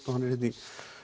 og hann er hérna í